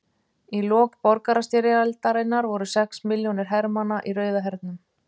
Í lok borgarastyrjaldarinnar voru sex milljónir hermanna í Rauða hernum.